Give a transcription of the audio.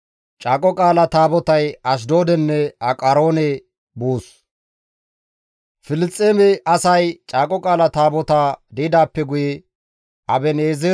Filisxeeme asay Caaqo Qaala Taabotaa di7idaappe guye Aben7eezereppe Ashdoode efida.